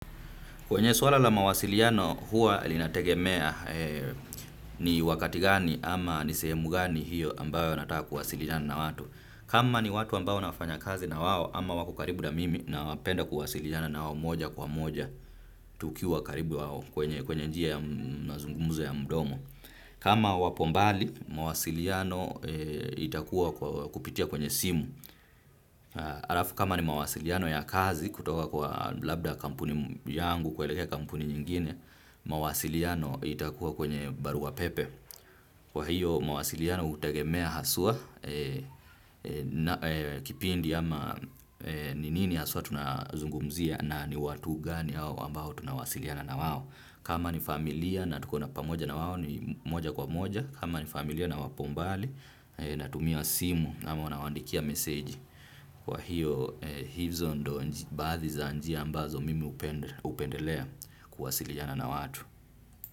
Kwenye swala la mawasiliano huwa linategemea ni wakati gani ama ni sehemu gani hiyo ambayo nataka kuwasiliana na watu. Kama ni watu ambao nafanya kazi nawao ama wako karibu na mimi napenda kuwasiliana nawao moja kwa moja tukiwa karibu nawao kwenye njia ya mazungumzo ya mdomo. Kama wapo mbali mawasiliano itakuwa kupitia kwenye simu. Alafu kama ni mawasiliano ya kazi kutoka kwa labda kampuni yangu kuelekea kampuni nyingine, mawasiliano itakuwa kwenye barua pepe. Kwa hiyo mawasiliano utegemea haswa, kipindi ama ni nini haswa tunazungumzia na ni watu gani ambao tunawasiliana nawao. Kama ni familia na tukona pamoja nawao ni moja kwa moja. Kama ni familia na wapo mbali natumia simu na nawandikia meseji. Kwa hiyo hizo ndo baadhi za njia ambazo mimi hupendelea kuwasiliana na watu.